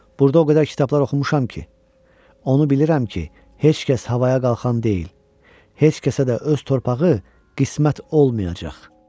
Burda o qədər kitablar oxumuşam ki, onu bilirəm ki, heç kəs havaya qalxan deyil, heç kəsə də öz torpağı qismət olmayacaq.